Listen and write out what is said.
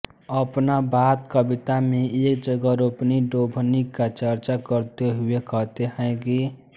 अपना बात कविता में एक जगह रोपनीडोभनी का चर्चा करते हुए कहते हैं कि